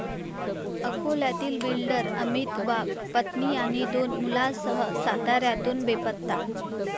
अकोल्यातील बिल्डर अमित वाघ पत्नी आणि दोन मुलांसह साताऱ्यातून बेपत्ता